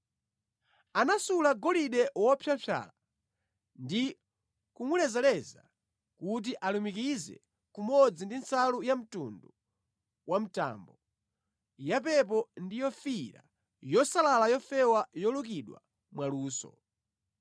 Anasula golide wopyapyala ndi kumulezaleza kuti alumikize kumodzi ndi nsalu yamtundu wa mtambo, yapepo ndi yofiira yosalala yofewa yolukidwa mwaluso.